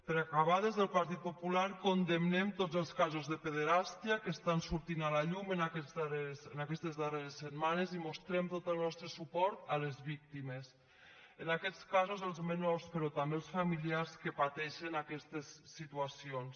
per acabar des del partit popular condemnem tots els casos de pederàstia que estan sortint a la llum en aquestes darreres setmanes i mostrem tot el nostre suport a les víctimes en aquests casos als menors però també als familiars que pateixen aquestes situacions